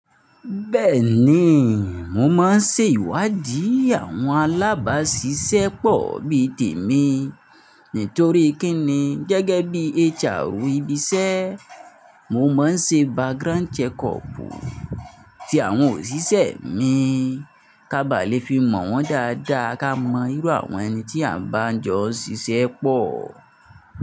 Bẹ́ẹ̀ni, mo máa ń se ìwádìí àwọn alábàásisẹ́pọ̀ bí tèmi. Nítorí kí ni gẹ́gẹ́ bí HR ibi iṣẹ́, mo máa ń ṣe background check up ti àwọn òṣìṣẹ́ mi, ká ba lè fi mọ̀ wọ́n dáadáa, ká mọ irú àwọn ẹni tí à ń bá jọ ṣiṣẹ́pọ̀.